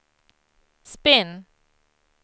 spinn